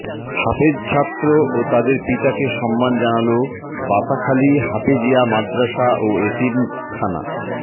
হাফেজ ছাত্র ও তাদের পিতাকে সম্মান জানালো বাতাখালী হাফেজীয়া মাদ্রাসা ও এতিমখানা